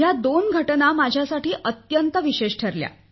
या दोन घटना माझ्यासाठी अत्यंत विशेष ठरल्या